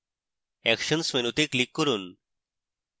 actions মেনুতে click করুন